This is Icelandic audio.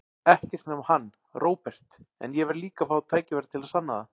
Ekkert nema hann, Róbert, en ég verð líka að fá tækifæri til að sanna það.